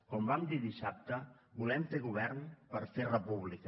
com vam dir dissabte volem fer govern per fer república